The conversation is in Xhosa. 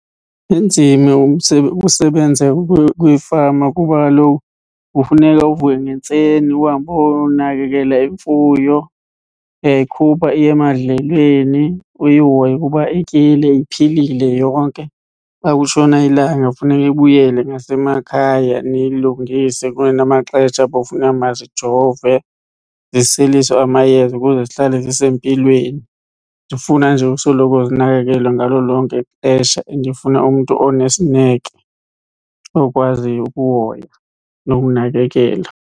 Inzima usebenza kwifama kuba kaloku kufuneka uvuke ngentseni uhambe uyonakekela imfuyo. Uyayikhupha iye emadlelweni, uyihoye ukuba ityile iphilile yonke. Xa kutshona ilanga kufuneka ibuyele ngasemakhaya niyilungise kunamaxesha apho kufuneka bazijove, ziseliswe amayeza ukuze zihlale zisempilweni. Zifuna nje usoloko zinakekelwe ngalo lonke ixesha and ifuna umntu onesineke okwaziyo ukuhoya nokunakekela.